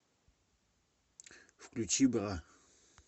включи бра